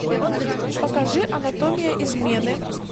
покажи анатомия измены